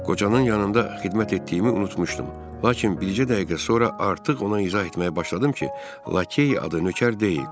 Qocanın yanında xidmət etdiyimi unutmuşdum, lakin bircə dəqiqə sonra artıq ona izah etməyə başladım ki, lakey adı nökər deyil.